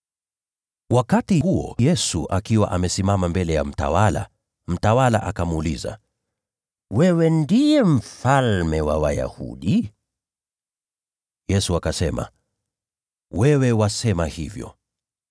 Wakati huo Yesu akiwa amesimama mbele ya mtawala, mtawala akamuuliza, “Wewe ndiye mfalme wa Wayahudi?” Yesu akasema, “Wewe wasema hivyo.”